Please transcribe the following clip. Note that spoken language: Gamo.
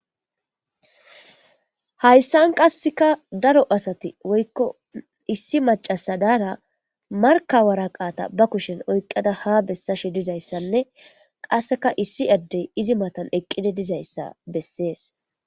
Hayssan qasseka daro asati woykko issi macasa daara markawaraqaata ba kushen oyqada ha bessashe dizayssanne qasseka issi addey izi matan eqqide dizayssa bessees.